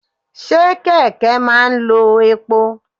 Ṣé kẹ̀kẹ́ máa ń lo epo?